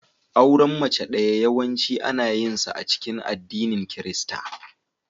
Auren mace ɗaya yawanci ana yinsa a cikin addinin Kirista.